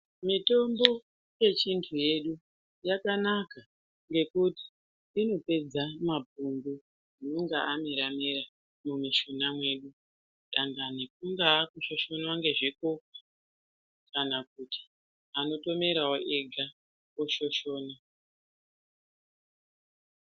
Mitombo yechindu yedu yakanaka ngekuti inopedza mapundu anenge amera mera mumishuna medu dangani kungaa kushoshonwa ngezvikukwa kana kuti anotomerawo ega oshoshona.